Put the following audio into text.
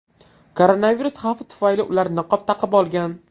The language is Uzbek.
Koronavirus xavfi tufayli ular niqob taqib olgan.